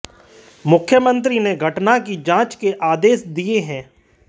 मुख्यमंत्री ने घटना की जांच के आदेश दिए हैं